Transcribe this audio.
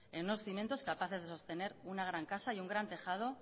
en unos cimientos capaces de sostener una gran casa y un gran tejado